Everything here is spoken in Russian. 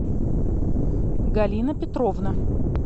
галина петровна